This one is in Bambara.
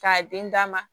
K'a den d'a ma